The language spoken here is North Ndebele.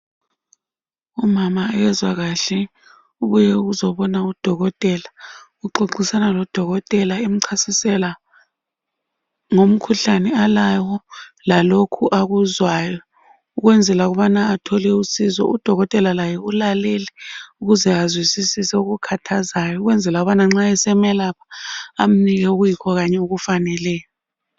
Umama kezwa kahle uye kuzobona udokotela, uxoxisana lodokotela emchasisela ngomkhuhlane alawo lalokhu akuzwayo ukwenzela ukubana athole usizo udokotela laye ulalele ukuze azwisisise okukhathazayo ukwenzela ukubana nxa esemelapha amnike okuyikho kanye okufaneleyo.